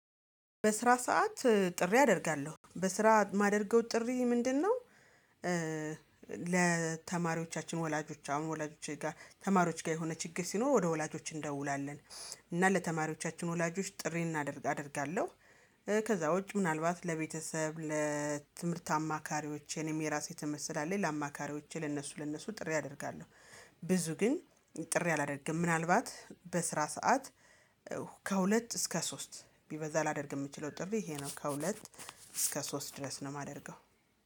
በስራ ሰዓት ጥሪ አደርጋለሁ በስራ የማደርገው ጥሪ ምንድነው? ለተማሪዎቻችን ወላጆች አሁን ወላጆች ጋር ተማሪዎች ጋር የሆነ ችግር ሲኖር ወደ ወላጆች እንደውላለን እና ለተማሪዎቻችን ወላጆች ጥሪ እናደርጋለሁ። ከዛ ውጭ ምናልባት ለቤተሰብ ለትምህርት አማካሪዎቼንም የራሴ ትምህርት ስላለኝ ለአማካሪዎቼ ለእነሱ ለእነሱ ጥሪ አደርጋለሁ። ብዙ ግን ጥሪ አላደርግም ምናልባት በስራ ሰዓት ከሁለት እስከ ሶስት ቢበዛ ላደርግ የምችለው ጥሪ ይሄ ነው። ከሁለት እስከ ሶስት ድረስ ነው የማደርገው